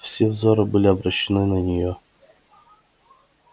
все взоры были обращены на нее